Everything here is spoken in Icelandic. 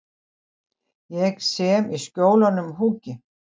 Ég sem í Skjólunum húki.